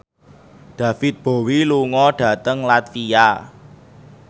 David Bowie lunga dhateng latvia